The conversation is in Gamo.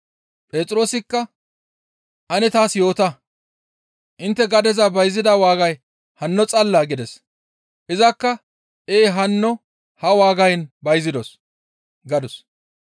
Phexroosikka, «Ane taas yoota; intte gadeza bayzida waagay hanno xallaa?» gides. Izakka, «Ee hanno ha waagayn bayzidos» gadus.